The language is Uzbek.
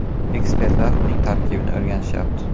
Ekspertlar uning tarkibini o‘rganishyapti.